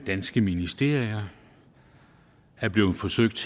danske ministerier er blevet forsøgt